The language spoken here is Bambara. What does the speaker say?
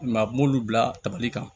I m'a ye a b'olu bila tabali kan